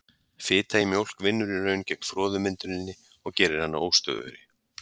Fita í mjólk vinnur í raun gegn froðumynduninni og gerir hana óstöðugri.